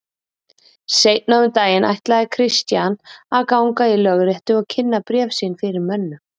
Seinna um daginn ætlaði Christian að ganga í lögréttu og kynna bréf sín fyrir mönnum.